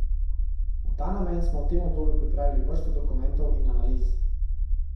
V ta namen smo v tem obdobju pripravili vrsto dokumentov in analiz.